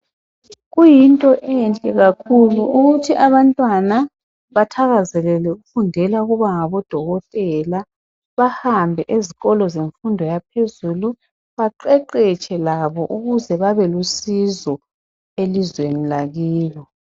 kuyinto enhle kakhulu ukuthi abantwana bathaazelele ukufundela ukuba ngodokotela bahambe ezikolo zemfundo yaphezulu baqeqetshe labo ukuze babelusizo elizweni lakibo